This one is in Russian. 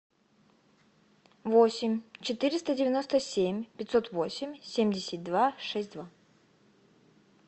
восемь четыреста девяносто семь пятьсот восемь семьдесят два шесть два